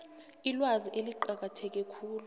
ilwazi eliqakatheke khulu